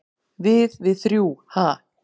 """Við- við þrjú, ha?"""